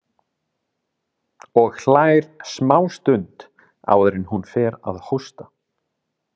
Og hlær smástund áður en hún fer að hósta.